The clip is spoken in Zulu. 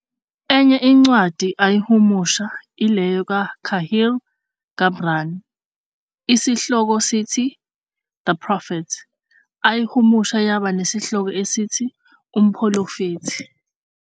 Enye incwadi ayihumusha ileyo ka Kahil Gibran esihloko sithi "The Prophet" ayihumusha yaba nesihloko esithi "UMphulofethi".